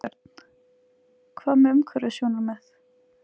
Björn: Hvað með umhverfissjónarmið?